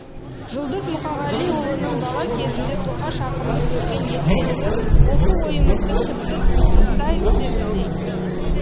жұлдыз мұқағалиұлының бала кезінде тоқаш ақынды көрген естелігі осы ойымызды тіпті тұздықтай түсетіндей